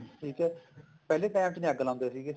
ਠੀਕ ਹੈ ਪਹਿਲੇ time ਚ ਨੀ ਅੱਗ ਲਾਉਂਦੇ ਸੀਗੇ